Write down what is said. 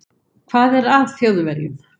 Hvað er að Þjóðverjum?